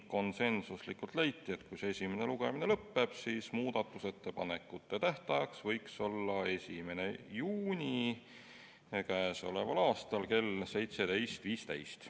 Konsensusega leiti, et kui esimene lugemine lõpetatakse, siis muudatusettepanekute tähtaeg võiks olla 1. juuni kell 17.15.